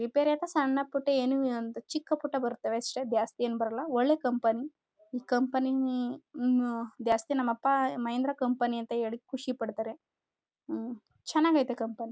Repair ಅಂದ್ರೆ ಸಣ್ಣಪುಟ್ಟ ಏನು ಒಂದು ಚಿಕ್ಕ ಪುಟ್ಟ ಬರುತ್ತವೆ ಅಷ್ಟೇ ಜಾಸ್ತಿ ಏನ್ ಬರಲ್ಲ ಒಳ್ಳೆ ಕಂಪನಿ ಈ ಕಂಪನಿ ಅಹ್ ಅಹ್ ಅಹ್ ಜಾಸ್ತಿ ನಮ್ಮಪ್ಪ ಮಹೇಂದ್ರ ಕಂಪನಿ ಅಂತ ಹೇಳಿ ಖುಷಿ ಪಡ್ತಾರೆ ಅಹ್ ಅಹ್ ಚೆನ್ನಾಗೈತೆ ಕಂಪನಿ. --